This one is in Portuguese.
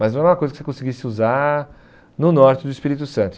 Mas não era uma coisa que você conseguisse usar no norte do Espírito Santo.